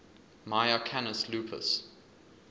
mya canis lupus